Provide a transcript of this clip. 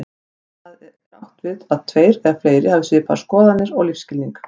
Þá er átt við tveir eða fleiri hafi svipaðar skoðanir og lífsskilning.